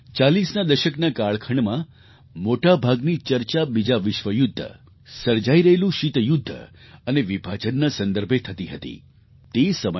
40ના દશકના કાળખંડમાં મોટા ભાગની ચર્ચા બીજા વિશ્વયુદ્ધ સર્જાઈ રહેલું શીત યુદ્ધ અને વિભાજનના સંદર્ભે થતી હતી તે સમયે ડૉ